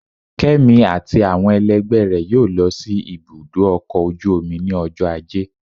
Kemi atí awọn ẹlẹgbẹ rẹ yóò lọ si ibudọ ọkọ ojú omí ni ọjọ ajé.